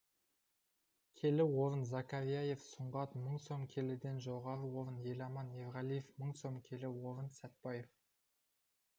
келі орын закарияев сұңғат мың сом келіден жоғары орын еламан ерғалиев мың сом келі орын сәтбаев